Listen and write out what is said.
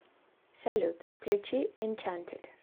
салют включи энчантид